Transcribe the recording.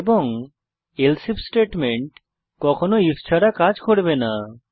এবং else if statement কখনও if ছাড়া কাজ করবে না